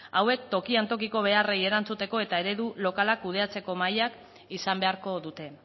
hauek tokian tokiko beharrei erantzuteko eta eredu lokalak kudeatzeko mahaiak izan beharko dute